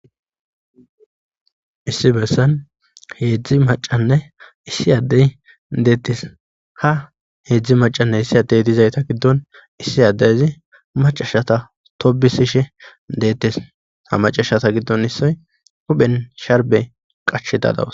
issi bessan heedzdzi macanne issi addey deettes ha heedzdzi macanne issi addey dizayta giddon issi addeyzi macashata tobisishe deettes ha macashata giddon issoy huphen sharbe qache dadawus